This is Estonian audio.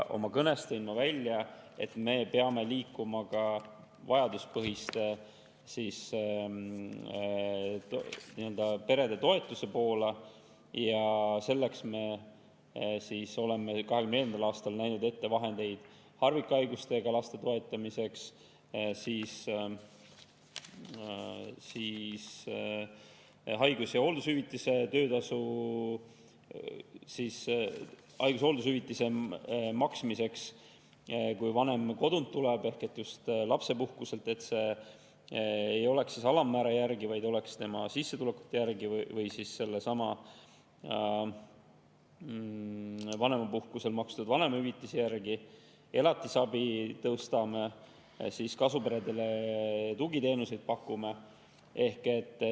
Oma kõnes tõin ma välja, et me peame liikuma ka vajaduspõhiste peretoetuste poole ja selleks me oleme 2024. aastal näinud ette vahendeid harvikhaigustega laste toetamiseks, haigus- ja hooldushüvitiste maksmiseks, kui vanem kodunt ehk just lapsepuhkuselt tuleb – et see ei oleks alammäära järgi, vaid tema sissetulekute järgi või sellesama vanemapuhkusel makstud vanemahüvitise järgi –, tõstame elatisabi ja pakume kasuperedele tugiteenuseid.